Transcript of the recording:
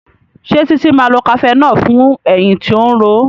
Ṣe Titi má lọ cafenol fún ẹyìn tó ń ró